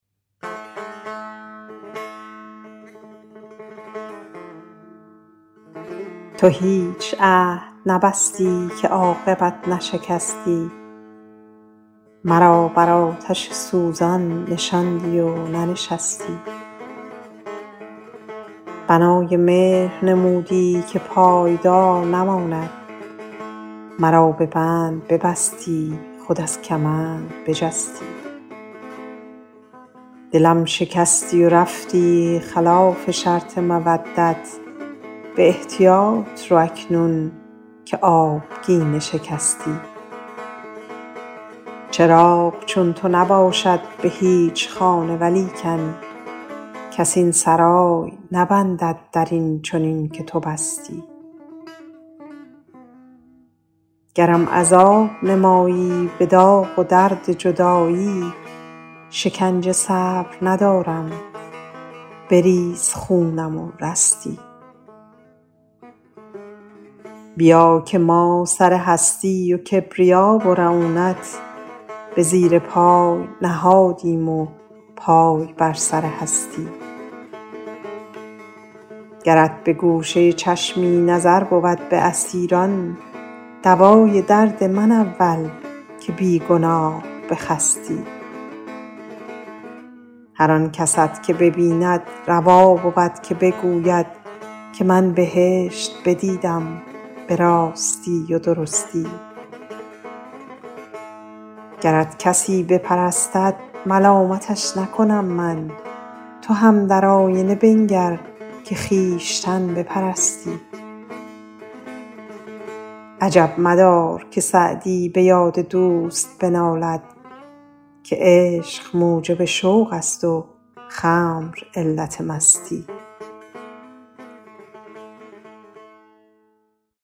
تو هیچ عهد نبستی که عاقبت نشکستی مرا بر آتش سوزان نشاندی و ننشستی بنای مهر نمودی که پایدار نماند مرا به بند ببستی خود از کمند بجستی دلم شکستی و رفتی خلاف شرط مودت به احتیاط رو اکنون که آبگینه شکستی چراغ چون تو نباشد به هیچ خانه ولیکن کس این سرای نبندد در این چنین که تو بستی گرم عذاب نمایی به داغ و درد جدایی شکنجه صبر ندارم بریز خونم و رستی بیا که ما سر هستی و کبریا و رعونت به زیر پای نهادیم و پای بر سر هستی گرت به گوشه چشمی نظر بود به اسیران دوای درد من اول که بی گناه بخستی هر آن کست که ببیند روا بود که بگوید که من بهشت بدیدم به راستی و درستی گرت کسی بپرستد ملامتش نکنم من تو هم در آینه بنگر که خویشتن بپرستی عجب مدار که سعدی به یاد دوست بنالد که عشق موجب شوق است و خمر علت مستی